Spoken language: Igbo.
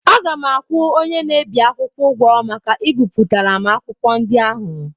Aga m akwụ onye na-ebi akwụkwọ ụgwọ maka ibipụtara m akwụkwọ ndị ahụ.